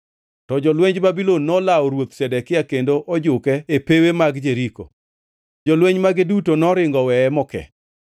to jolwenj Babulon nolawo Ruoth Zedekia kendo ojuke e pewe mag Jeriko. Jolweny mage duto noringo oweye moke,